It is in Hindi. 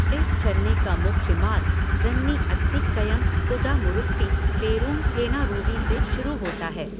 इस झरने का मुख्य मार्ग रन्नी अथिक्कयम कुदामुरुट्टी पेरूनथेनारूवी से शुरू होता है।